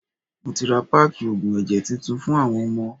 Mo ti ra páákì oògùn ẹ̀jẹ̀ titun fún àwọn ọmọ.